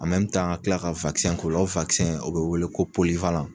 A mɛmi tan ka kila ka wakisɛn k'ola o wakisɛn o be wele ko poliwalan